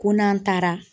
Ko n'an taara